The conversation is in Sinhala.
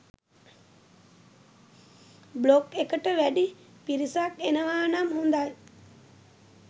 බ්ලොග් එකට වැඩි පිරිසක් එනවා නම් හොඳයි